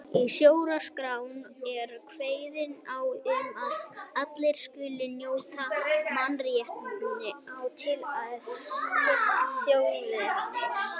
Í stjórnarskránni er kveðið á um að allir skuli njóta mannréttinda án tillits til þjóðernis.